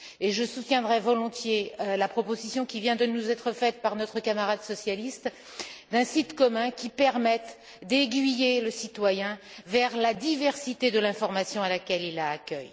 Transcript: Je soutiendrai volontiers la proposition qui vient de nous être faite par notre camarade socialiste d'un site commun qui permette d'aiguiller le citoyen vers la diversité de l'information à laquelle il a accès.